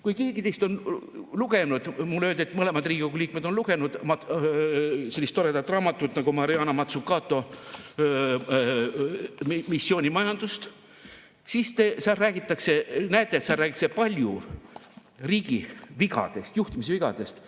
Kui keegi teist on lugenud – mulle öeldi, et mõned Riigikogu liikmed on lugenud – sellist toredat raamatut nagu Mariana Mazzucato "Missioonimajandus", siis seal räägitakse palju riigi vigadest, juhtimisvigadest.